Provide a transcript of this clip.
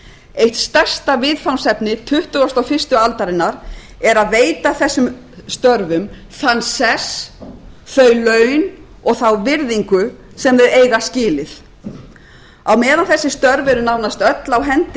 eitt stærsta viðfangsefni tuttugasta og fyrstu aldarinnar er að veita þessum störfum þann sess þau laun og þá virðingu sem þau eiga skilið á meðan þessi störf eru nánast öll á hendi